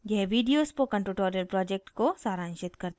यह video spoken tutorial project को सारांशित करता है